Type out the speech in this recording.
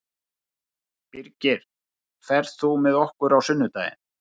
Birgir, ferð þú með okkur á sunnudaginn?